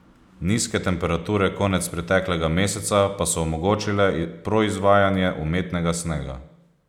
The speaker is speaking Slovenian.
Nizke temperature konec preteklega meseca pa so omogočile proizvajanje umetnega snega.